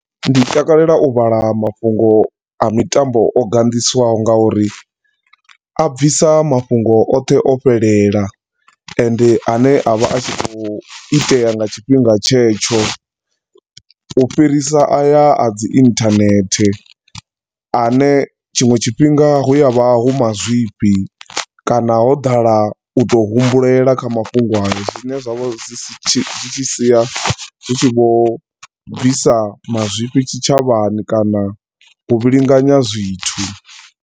Ndi takalela u vhala mafhungo a mitambo o ganḓisiwaho nga uri a bvisa mafhungo oṱhe o fhelela, ende ane a vha a khou itea nga tshifhinga tshetsho u fhirisa aya a dzi internet, ane tshinwe tshifhinga hu a vha hu mazwifhi kana ho ḓala u to humbulela kha mafhungo ayo. Zwine zwa vha zwi si tshi, zwi tshi sia zwi tshi vho bvisa mazwifhi tshitshavhani kana u vhilinganya zwithu.